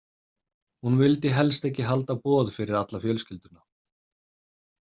Hún vildi helst ekki halda boð fyrir alla fjölskylduna.